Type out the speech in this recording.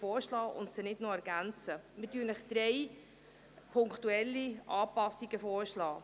Wir schlagen Ihnen drei punktuelle Anpassungen vor.